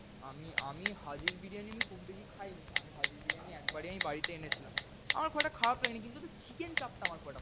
আমি আমি হাজীর বিরিয়ানি আমি খুব বেশি খায়নি। আমি হাজীর বিরিয়ানি একবারই আমি বাড়িতে এনেছিলাম। আমার খুব একটা খারাপ লাগেনি। কিন্তু ওদের chicken চাপ টা আমার খুব একটা ভালো লাগেনি।